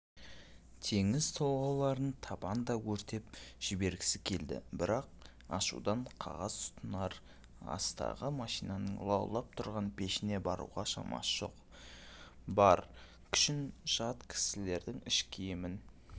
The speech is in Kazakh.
теңіз толғауларын табанда өртеп жібергісі келді бірақ ашудан қағаз тұтанар ма астағы машинаның лаулап тұрған пешіне баруға шамасы жоқ бар күшін жат кісілердің іш киімін